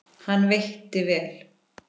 Hann veitti vel